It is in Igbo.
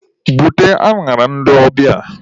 Bute añara ndị ọbịa!